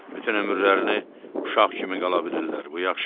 Bütün ömürlərini uşaq kimi qala bilirlər, bu yaxşıdır.